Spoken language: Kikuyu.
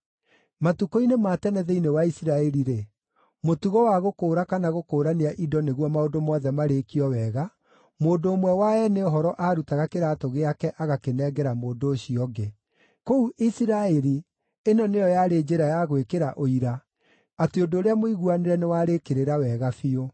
(Matukũ-inĩ ma tene thĩinĩ wa Isiraeli-rĩ, mũtugo wa gũkũũra kana gũkũũrania indo nĩguo maũndũ mothe marĩkio wega, mũndũ ũmwe wa eene ũhoro aarutaga kĩraatũ gĩake agakĩnengera mũndũ ũcio ũngĩ. Kũu Isiraeli ĩno nĩyo yarĩ njĩra ya gwĩkĩra ũira atĩ ũndũ ũrĩa mũiguanĩre nĩwarĩĩkĩrĩra wega biũ.)